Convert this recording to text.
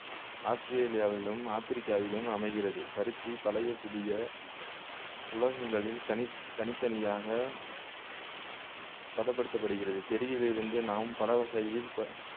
ஆஸ்திரேலியாவிலும் ஆப்பிரிக்காவிலும் அமைகிறது பருத்தி பழைய புதிய உலோகங்களில் தனி தனித்தனியாக பதப்படுத்தப் படுகிறது செடியிலிருந்து நாம் பலவகையில்